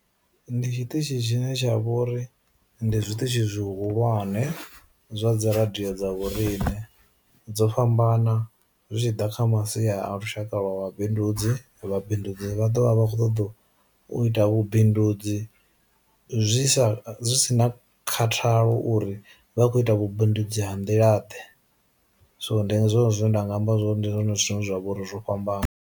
Ndi tshiṱitshi tshine tsha vhori ndi zwiṱitshi zwi hulwane zwa dzi radio dza vhorine dzo fhambana zwi tshiḓa kha masi a lushaka lwa wa bindudzi vha bindudzi vha ḓo vha kho ṱoḓo u ita vhu bindudzi zwi sa zwi si na khathalo uri vha khou ita vhu bindudzi ha ndila ḓe, so ndi zwone zwine nda nga amba zwori ndi zwone zwithu zwine zwavha uri zwo fhambana.